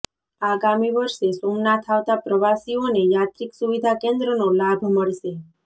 આગામી વર્ષે સોમનાથ આવતા પ્રવાસીઓને યાત્રીક સુવિધા કેન્દ્રનો લાભ મળશે